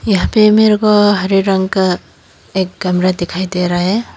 यहां पे मेरे को हरे रंग का एक कमरा दिखाई दे रहा है।